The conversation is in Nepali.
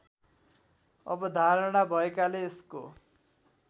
अवधारणा भएकाले यसको